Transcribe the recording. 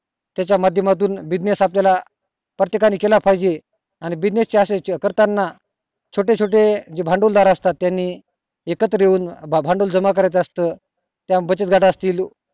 त्याच्या माधमातून business आपल्यला प्रत्येकाने केला पाहिजे आणि buniess च अश्य करताना छोटे छोटे जे भांडवल दार असतात त्यानी एकत्र येऊन भांडवल जमा करायचं असत किव्हा बचत गटात असतील